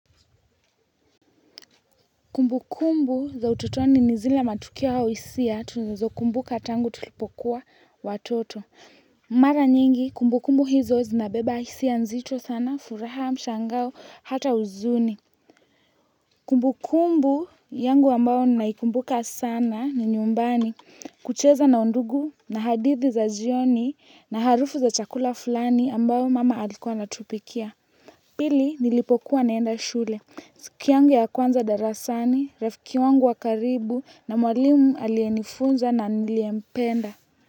Kumbu kumbu za utotoni ni zile matukio au hisia tunazokumbuka tangu tulipokuwa watoto. Mara nyingi kumbu kumbu hizo zinabeba hisia nzito sana, furaha, mshangao, hata huzuni. Kumbu kumbu yangu ambao naikumbuka sana ni nyumbani kucheza na undugu na hadithi za jioni na harufu za chakula fulani ambao mama alikuwa anatupikia. Pili nilipokuwa naenda shule. Siku yangu ya kwanza darasani, rafiki wangu wa karibu na mwalimu aliyenifunza na niliyempenda.